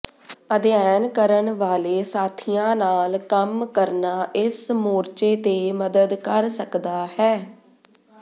ਅਧਿਐਨ ਕਰਨ ਵਾਲੇ ਸਾਥੀਆਂ ਨਾਲ ਕੰਮ ਕਰਨਾ ਇਸ ਮੋਰਚੇ ਤੇ ਮਦਦ ਕਰ ਸਕਦਾ ਹੈ